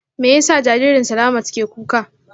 Me yasa jaririn Slamat ke kuka?